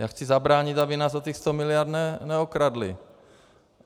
Já chci zabránit, aby nás o těch 100 miliard neokradli.